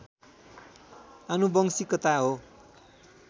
आनुवंशिकता हो।